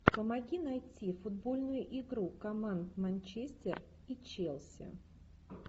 помоги найти футбольную игру команд манчестер и челси